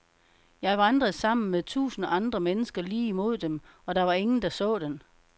Jeg vandrede sammen med tusind andre mennesker lige imod den, og der var ingen, der så den.